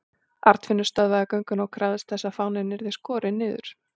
Arnfinnur stöðvaði gönguna og krafðist þess að fáninn yrði skorinn niður.